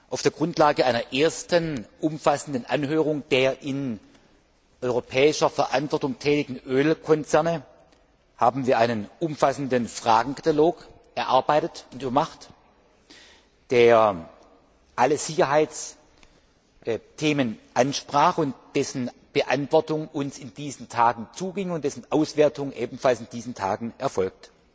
Auf der Grundlage einer ersten umfassenden Anhörung der in europäischer Verantwortung tätigen Ölkonzerne haben wir einen umfassenden Fragenkatalog erarbeitet, der alle Sicherheitsthemen ansprach, dessen Beantwortung uns in diesen Tagen zuging und dessen Auswertung ebenfalls in diesen Tagen erfolgt.